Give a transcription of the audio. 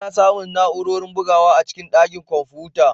Ana samun na'urorin bugawa a cikin ɗakin kwamfuta.